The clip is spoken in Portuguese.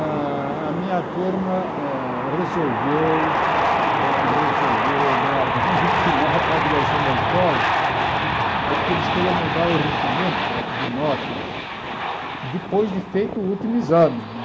Ah a minha turma ah resolveu resolveu dar um ultimato à direção da escola, porque eles queriam mudar o regimento de notas depois de feito o último exame né.